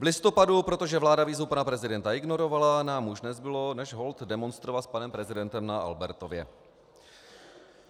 V listopadu, protože vláda výzvu pana prezidenta ignorovala, nám už nezbylo než holt demonstrovat s panem prezidentem na Albertově.